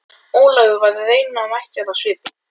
Ólafur og varð raunamæddur á svipinn.